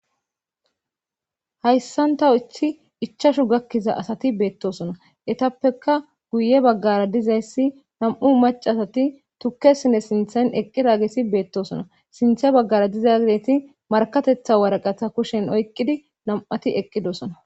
hayssanta ithi ichashu gakkiza asati beettosona etappeka guye baggara dizayssi nam7u macasati tukkesine sinthan eqqi raagesi beettosona sinthe baggara diza gideti markatetha waraqatha kushen oyqqidi nam7ati eqqidosona